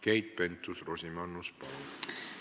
Keit Pentus-Rosimannus, palun!